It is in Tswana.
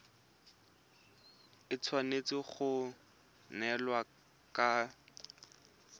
e tshwanetse go neelana ka